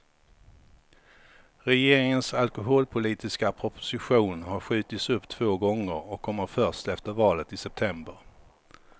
Regeringens alkoholpolitiska proposition har skjutits upp två gånger och kommer först efter valet i september.